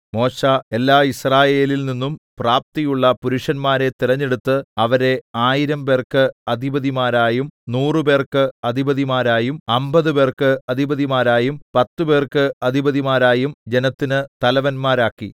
മോശെ എല്ലാ യിസ്രായേലിൽനിന്നും പ്രാപ്തിയുള്ള പുരുഷന്മാരെ തിരഞ്ഞെടുത്ത് അവരെ ആയിരംപേർക്ക് അധിപതിമാരായും നൂറുപേർക്ക് അധിപതിമാരായും അമ്പതുപേർക്ക് അധിപതിമാരായും പത്തുപേർക്ക് അധിപതിമാരായും ജനത്തിന് തലവന്മാരാക്കി